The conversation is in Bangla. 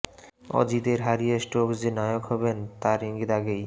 অজিদের হারিয়ে স্টোকস যে নায়ক হবেন তার ইঙ্গিত আগেই